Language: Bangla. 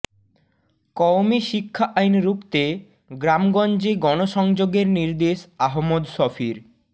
কওমি শিক্ষা আইন রুখতে গ্রামগঞ্জে গণসংযোগের নির্দেশ আহমদ শফীর